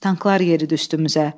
Tanklar yeridi üstümüzə.